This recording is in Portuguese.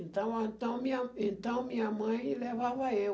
Então, a então minha então minha mãe levava eu.